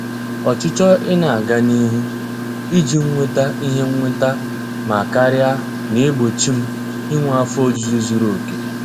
Ọchịchọ ị na-aga n'ihu iji nweta ihe nnweta ma karia na-egbochi m inwe afọ ojuju zuru oke.